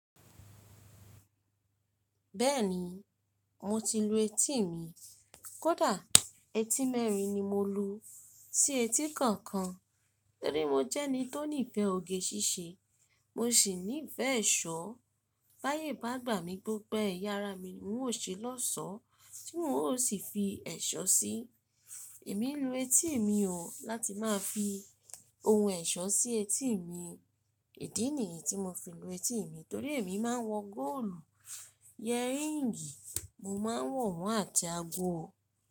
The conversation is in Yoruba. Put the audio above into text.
Bẹ́ẹ̀ni, mo ti lu etí mi. Kódà etí mẹ́rin ni mo lu, tí etí kọ̀ọ̀kan torí mo jẹ́ ẹni tó nífẹ̀ẹ́ oge ṣíṣe. Mo sì nífẹ̀ẹ́ ẹ̀ṣọ́. Báyé bá gbà mí gbogbo ẹ̀yà ara mi ni n ó ṣe lọ́sọọ̀ọ́ tí n ó sì fi ẹ̀ṣọ́ sí i. Èmi ń lu etí mi o, láti má fi ohun ẹ̀ṣọ́ sí etí mi. Ìdí nìyí tí mo fi ń lu etí mi torí èmi má ń wọ góòlù, yẹríǹgì, mo má ń wọ̀ wọ́n àti ago.